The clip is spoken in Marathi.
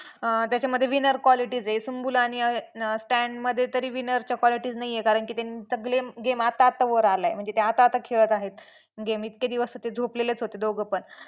अं त्याच्यामध्ये winner qualities आहेत. सुम्बूल आणि Stan मध्ये तरी winner च्या qualities नाही आहेत कारण की त्यांचा game आता आता वर आलाय म्हणजे ते आता आता खेळत आहेत game इतके दिवस तर ते झोपलेलेच होते दोघेपण.